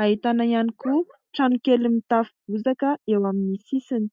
Ahitana ihany koa trano kely mitafo bozaka eo amin'ny sisiny.